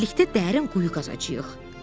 Birlikdə dərin quyu qazacağıq.